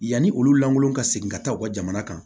Yanni olu lankolon ka segin ka taa u ka jamana kan